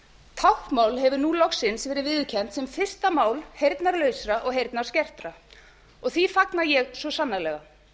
táknmál hefur nú loks verið viðurkennt sem fyrsta mál heyrnarlausra og heyrnarskertra og því fagna ég svo sannarlega